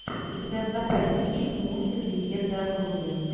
у тебя в запасе есть мультик легенда о круге